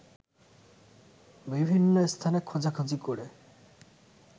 বিভিন্ন স্থানে খোঁজাখুঁজি করে